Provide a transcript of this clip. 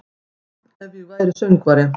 Ef væri ég söngvari